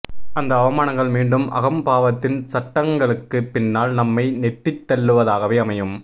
அந்த அவமானங்கள் மீண்டும் அகம்பாவத்தின் சட்டகங்களுக்கு பின்னால் நம்மை நெட்டித் தள்ளுவதாகவே அமையும்